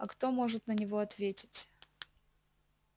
а кто может на него ответить